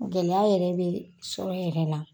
Gɛlɛya yɛrɛ bɛ sɔrɔ yɛrɛ la